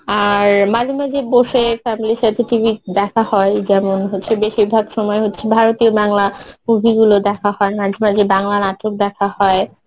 আর মাঝে মাঝে বসে family র সাথে TV দেখা হয় যেমন হচ্ছে বেশিরভাগ সময় হচ্ছে ভারতীয় বাংলা movie গুলো দেখা হয় মাঝে মাঝে বাংলা নাটক দেখা হয়